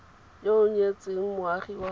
yo o nyetseng moagi wa